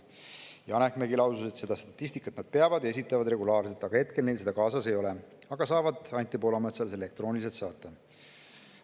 Janek Mägi lausus, et seda statistikat nad peavad ja esitavad regulaarselt, hetkel neil seda kaasas ei ole, aga nad saavad Anti Poolametsale selle elektrooniliselt saata.